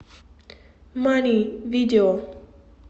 мани видео